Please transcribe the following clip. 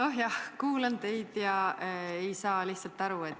Oh jah, kuulan teid ega saa lihtsalt aru.